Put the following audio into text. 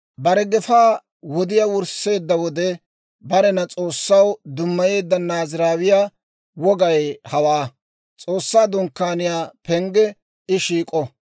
« ‹Bare gefaa wodiyaa wursseedda wode barena S'oossaw dummayeedda Naaziraawiyaa wogay hawaa: S'oossaa Dunkkaaniyaa pengge I shiik'o;